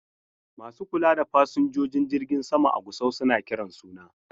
Masu kula da fasinjojin jirgin sama a Gusau suna kiran suna.